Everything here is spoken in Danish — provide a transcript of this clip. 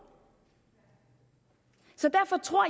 så derfor tror